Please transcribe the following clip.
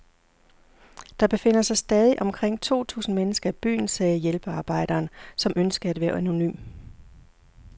Der befinder sig stadig omkring to tusind mennesker i byen, sagde hjælpearbejderen, som ønskede at være anonym.